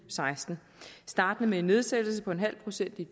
seksten startende med en nedsættelse på en halv procent i